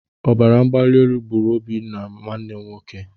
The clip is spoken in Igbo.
Ọbaramgbalielu gburu Obinna my brother.